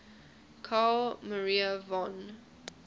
carl maria von